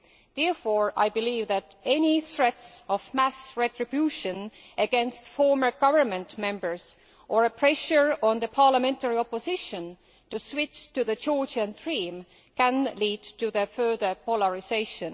Therefore I believe that any threats of mass retribution against former government members or pressure on the parliamentary opposition to switch to Georgian Dream might lead to their further polarisation.